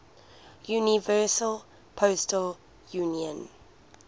universal postal union